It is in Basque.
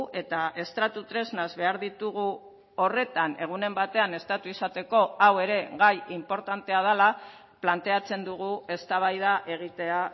eta estratu tresnaz behar ditugu horretan egunen batean estatu izateko hau ere gai inportantea dela planteatzen dugu eztabaida egitea